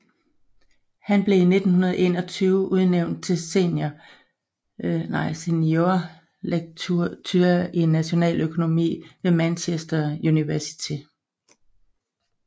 Han blev i 1921 udnævnt til Senior lecturer i Nationaløkonomi ved Manchester University